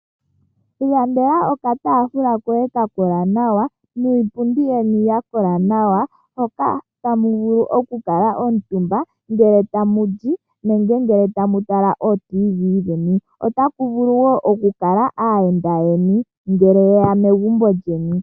Ilandela okataafula koye ka kola nawa ka kola nawa niipundi ya kola nawa hoka to vulu okukala omutumba ngele tamu li nenge tamu tala otiivii dheni. Otaku vulu wo okukala aayenda yeni ngele ye ya megumbo lyeni.